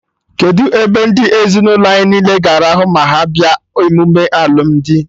Kedụ ebe ndị ezinụlọ anyị niile ga-arahụ ma ha bịa emume alụmdi?